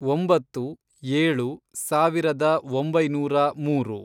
ಒಂಬತ್ತು, ಏಳು, ಸಾವಿರದ ಒಂಬೈನೂರ ಮೂರು